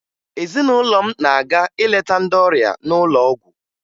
Ezinụlọ m na-aga ileta ndị ọrịa n'ụlọ ọgwụ